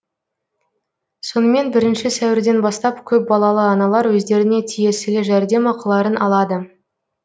сонымен бірінші сәуірден бастап көпбалалы аналар өздеріне тиесілі жәрдемақыларын алады